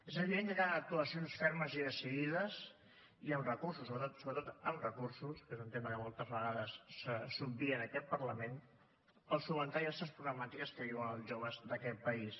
és evident que calen actuacions fermes i decidides i amb recursos sobretot amb recursos que és un tema que moltes vegades s’obvia en aquest parlament per solucionar diverses problemàtiques que viuen els joves d’aquest país